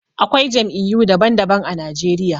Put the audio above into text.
Akwai Jam'iyyu daban daban a Najeriya